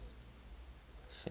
science